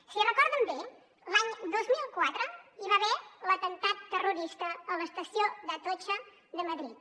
si ho recorden bé l’any dos mil quatre hi va haver l’atemptat terrorista a l’estació d’atocha de madrid